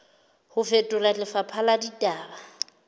ho fetola lefapha la ditaba